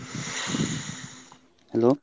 Hello.